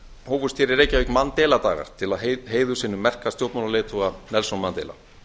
hér í reykjavík mandela dagar til heiðurs hinum merka stjórnmálaleiðtoga nelson mandela